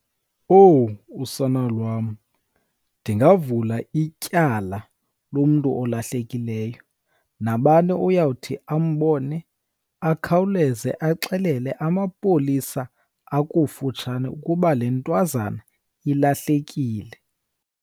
Owu, usana lwam! Ndingavula ityala lomntu olahlekileyo, nabani uyawuthi ambone akhawuleze axelele amapolisa akufutshane ukuba le ntwazana ilahlekile.